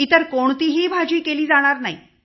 इतर कोणतीही भाजी केली जाणार नाही